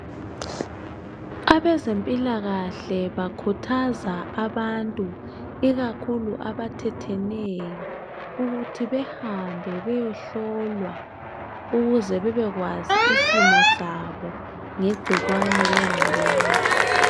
Abezempilakahle bakhuthaza abantu ikakhulu abathetheneyo ukuthi behambe beyehlolwa ukuze bebekwazi isimo sabo ngegcikwane lengculaza.